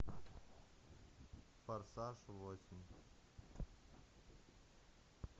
форсаж восемь